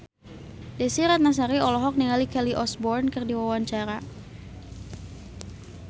Desy Ratnasari olohok ningali Kelly Osbourne keur diwawancara